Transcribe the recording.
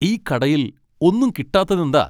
ഈ കടയിൽ ഒന്നും കിട്ടാത്തതെന്താ?